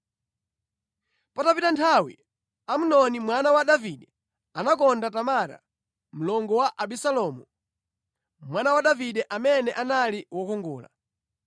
Patapita nthawi, Amnoni mwana wa Davide anakonda Tamara, mlongo wa Abisalomu, mwana wa Davide, amene anali wokongola.